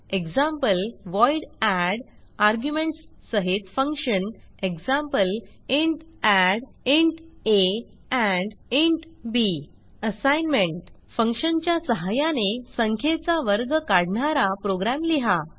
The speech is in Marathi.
ईजी व्हॉइड add आर्ग्युमेंट्स सहित function eg int add assignment फंक्शनच्या सहाय्याने संख्येचा वर्ग काढणारा प्रोग्रॅम लिहा